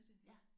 Ja